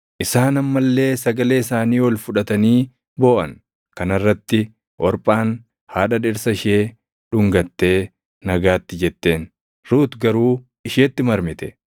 Isaan amma illee sagalee isaanii ol fudhatanii booʼan. Kana irratti Orphaan haadha dhirsa ishee dhungattee nagaatti jetteen; Ruut garuu isheetti marmite.